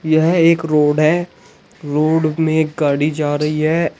यह एक रोड है रोड में गाड़ी जा रही है।